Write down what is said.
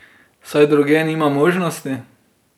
Saj drugje nimam možnosti.